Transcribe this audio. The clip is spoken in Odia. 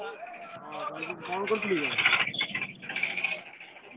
କଣ କରୁଥିଲୁ କି?